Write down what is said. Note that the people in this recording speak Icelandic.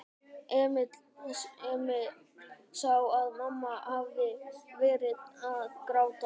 Emil sá að mamma hafði verið að gráta.